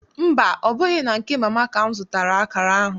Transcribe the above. Mba, ọ bụghị na nke Mama ka m zụtara akara ahụ.